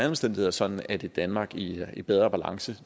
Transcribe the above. omstændigheder sådan at et danmark i i bedre balance